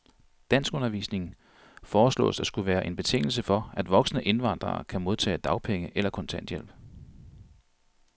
Danskundervisning foreslås at skulle være en betingelse for, at voksne indvandrere kan modtage dagpenge eller kontanthjælp.